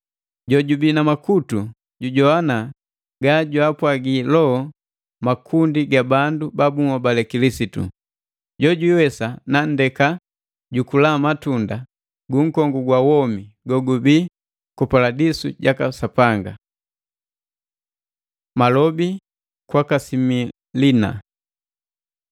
“Jojubi na makutu, jujogwana ga jwaapwagi loho makundi ga bandu ba bunhobale Kilisitu! “Jo jwiiwesa nanndeka jukula matunda gu nkongu gwa womi gogubi ku Paladisu jaka Sapanga.” Malobi kwaka Similina.